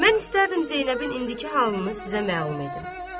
Mən istərdim Zeynəbin indiki halını sizə məlum edim.